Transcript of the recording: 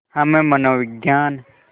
हम मनोविज्ञान